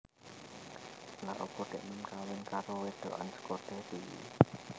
Lha opo deknen kawin karo wedokan soko Derry?